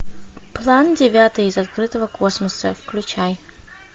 план девятый из открытого космоса включай